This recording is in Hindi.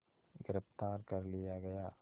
गिरफ़्तार कर लिया गया